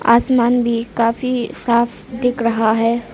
आसमान भी काफी साफ दिख रहा है।